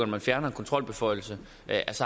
man fjerner en kontrolbeføjelse